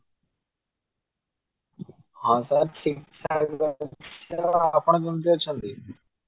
ହଁ sir ଠିକ ଠକ ଅଛନ୍ତି ଆପଣ କେମିତି ଅଛନ୍ତି